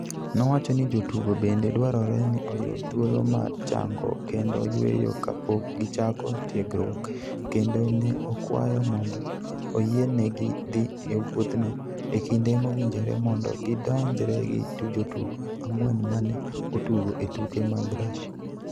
Nowacho ni jotugo bende dwarore ni oyud thuolo mar chango kendo yueyo ka pok gichako tiegruok kendo ne okwayo mondo oyienegi dhi e wuodhno e kinde mowinjore mondo gidonjre gi jotugo ang'wen ma ne otugo e tuke mag Russia